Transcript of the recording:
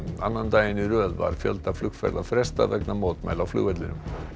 annan daginn í röð var fjölda flugferða frestað vegna mótmæla á flugvellinum